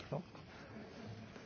Panie Przewodniczący!